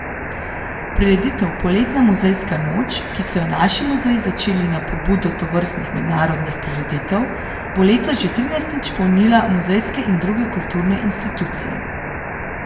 Prireditev Poletna muzejska noč, ki so jo naši muzeji začeli na pobudo tovrstnih mednarodnih prireditev, bo letos že trinajstič polnila muzejske in druge kulturne institucije.